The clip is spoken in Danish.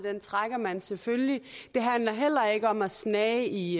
trækker man selvfølgelig det handler heller ikke om at snage i